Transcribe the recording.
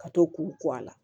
Ka to k'u a la